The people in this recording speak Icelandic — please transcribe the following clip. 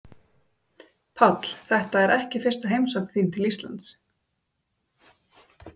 Páll: Þetta er ekki fyrsta heimsókn þín til Íslands?